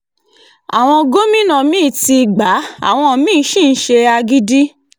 àwọn gómìnà mí-ín ti gbá àwọn mi-ín sì ń ṣe agídí